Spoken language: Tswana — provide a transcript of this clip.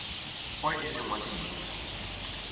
o e seng wa semmuso